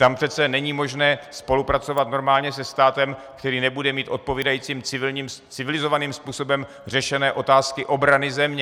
Tam přece není možné spolupracovat normálně se státem, který nebude mít odpovídajícím civilizovaným způsobem řešené otázky obrany země.